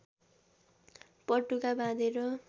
पटुका बाँधेर